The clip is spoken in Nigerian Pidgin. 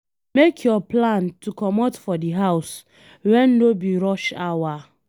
Make your plan to comot for di house when no be rush hour